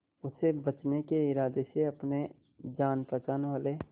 उसे बचने के इरादे से अपने जान पहचान वाले